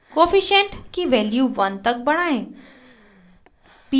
coefficient की value 1 तक बढ़ाएं